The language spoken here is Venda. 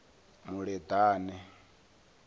muleḓane